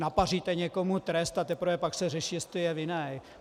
Napaříte někomu trest, a teprve pak se řeší, jestli je vinný.